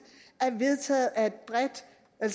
er vedtaget af et bredt